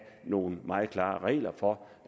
nogle meget klare regler for